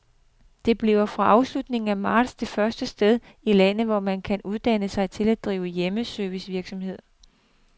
Det bliver fra slutningen af marts det første sted i landet, hvor man kan uddanne sig til at drive hjemmeservicevirksomhed.